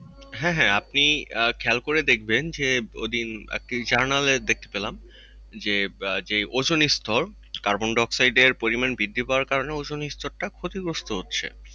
হ্যাঁ হ্যাঁ আপনি খেয়াল করে দেখবেন যে, ঐদিন একটি journal এ দেখতে পেলাম যে আহ যে ওজোন স্তর carbon-dioxide এর পরিমাণ বৃদ্ধি পাওয়ার কারণে ওজোন স্তর ক্ষতিগ্রস্ত হচ্ছে।